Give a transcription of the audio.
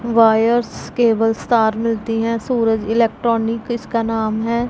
Wires cable तार मिलती है सूरज इलेक्ट्रॉनिक इसका नाम है।